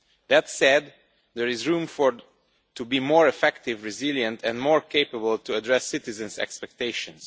That said, there is room to be more effective, resilient and more capable of addressing citizens' expectations.